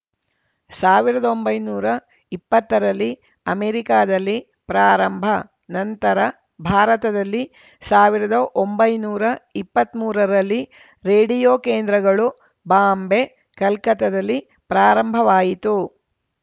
ಸಾವಿರದ ಒಂಬೈನೂರ ಇಪ್ಪತ್ತರಲ್ಲಿ ಅಮೆರಿಕಾದಲ್ಲಿ ಪ್ರಾರಂಭ ನಂತರ ಭಾರತದಲ್ಲಿ ಸಾವಿರದ ಒಂಬೈನೂರ ಇಪ್ಪತ್ಮೂರರಲ್ಲಿ ರೇಡಿಯೋ ಕೇಂದ್ರಗಳು ಬಾಂಬೆ ಕಲ್ಕತ್ತದಲ್ಲಿ ಪ್ರಾರಂಭವಾಯಿತು